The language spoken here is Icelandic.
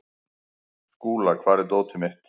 Skúla, hvar er dótið mitt?